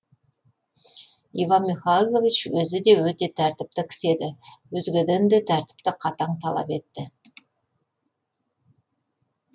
иван михайлович өзі де өте тәртіпті кісі еді өзгеден де тәртіпті қатаң талап етті